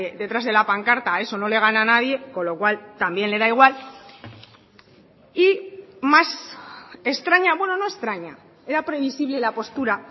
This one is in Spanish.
detrás de la pancarta a eso no le gana nadie con lo cual también le da igual y más extraña bueno no extraña era previsible la postura